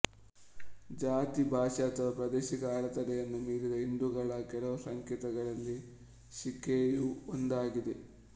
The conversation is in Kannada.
ಜಾತಿ ಭಾಷೆ ಅಥವಾ ಪ್ರಾದೇಶಿಕ ಅಡೆತಡೆಗಳನ್ನು ಮೀರಿದ ಹಿಂದೂಗಳ ಕೆಲವು ಸಂಕೇತಗಳಲ್ಲಿ ಶಿಖೆಯು ಒಂದಾಗಿದೆ